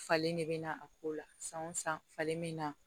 Falen de bɛ na a ko la san o san falen bɛ na